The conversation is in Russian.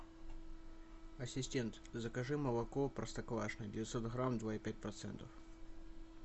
ассистент закажи молоко простоквашино девятьсот грамм два и пять процентов